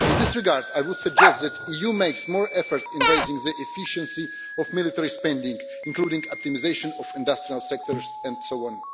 In this regard, I would suggest that the EU makes more of an effort in raising the efficiency of military spending, including optimisation of industrial sectors, and so on.